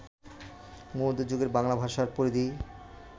মধ্য যুগের বাংলা ভাষার পরিধি